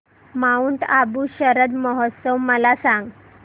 Mount Abu Sharad Mahotsav मला सांग